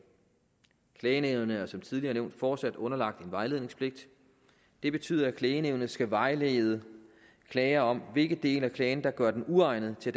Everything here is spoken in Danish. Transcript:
klagenævnet er som tidligere nævnt fortsat underlagt en vejledningspligt det betyder at klagenævnet skal vejlede klagere om hvilke dele af klagen der gør den uegnet til